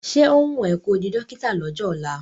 Ṣé ó wùn ẹ́ ko di dọ́kítà lọ́jọ́ ọ̀la?